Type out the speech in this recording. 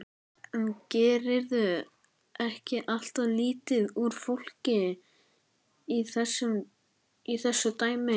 En gerirðu ekki alltof lítið úr fólkinu í þessu dæmi?